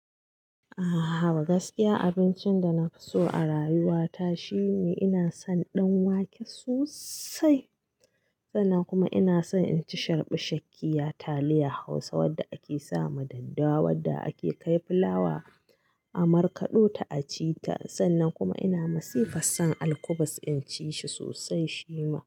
Ahhaba gaskiya abincin da na fi so a rayuwa ta shine ina son danwake sosai sannan kuma ina son inci sharɓu shaƙƙiya taliya Hausa wanda ake sama daddawa wanda ake kai fulawa a markaɗo ta acita. Sannan kuma ina masifas son alkubus inci shi sosai shima.